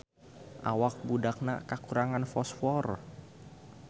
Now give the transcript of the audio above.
Awak budakna kakurangan fosfor